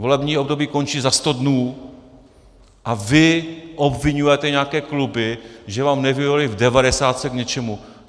Volební období končí za sto dnů a vy obviňujete nějaké kluby, že vám nevyhověly v devadesátce k něčemu.